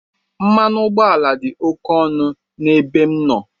Mmanụ ụgbọala dị ókè ọnụ n'ebe m nọ.